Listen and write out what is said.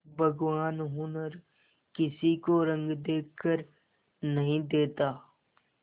भगवान हुनर किसी को रंग देखकर नहीं देता